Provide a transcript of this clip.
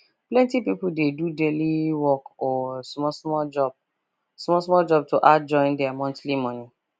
plenty people dey do daily work or small small job small job to add join their monthly money